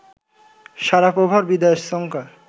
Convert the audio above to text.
শারাপোভার বিদায়ের শঙ্কা